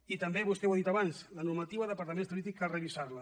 i també vostè ho ha dit abans la normativa d’apartaments turístics cal revisar la